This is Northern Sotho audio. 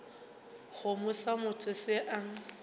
kgomo sa motho se a